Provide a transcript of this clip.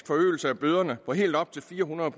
forøgelse af bøderne på helt op til fire hundrede